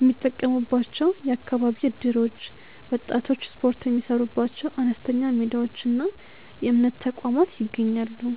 የሚጠቀሙባቸው የአካባቢ እደሮች፣ ወጣቶች ስፖርት የሚሠሩባቸው አነስተኛ ሜዳዎችና የእምነት ተቋማት ይገኛሉ።